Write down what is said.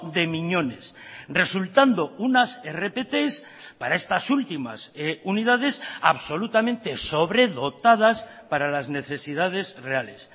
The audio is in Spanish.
de miñones resultando unas rpt para estas últimas unidades absolutamente sobredotadas para las necesidades reales